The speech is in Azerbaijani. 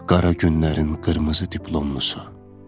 Qara günlərin qırmızı diplomlusu.